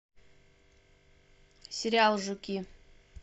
сериал жуки